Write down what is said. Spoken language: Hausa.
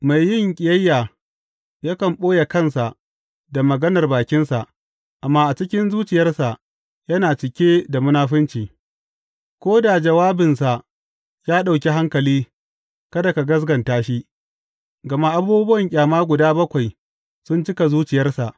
Mai yin ƙiyayya yakan ɓoye kansa da maganar bakinsa, amma a cikin zuciyarsa yana cike da munafunci Ko da jawabinsa ya ɗauki hankali, kada ka gaskata shi, gama abubuwa ƙyama guda bakwai sun cika zuciyarsa.